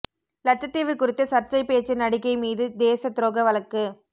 லட்சத்தீவு குறித்து சர்ச்சை பேச்சு நடிகை மீது தேச துரோக வழக்கு